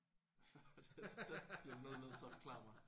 Hvad var det det bliver du nødt til at forklare mig